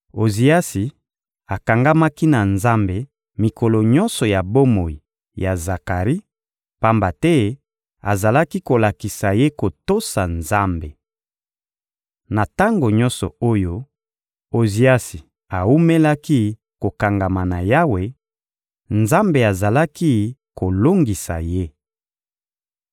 Oziasi akangamaki na Nzambe mikolo nyonso ya bomoi ya Zakari, pamba te azalaki kolakisa ye kotosa Nzambe. Na tango nyonso oyo Oziasi awumelaki kokangama na Yawe, Nzambe azalaki kolongisa ye.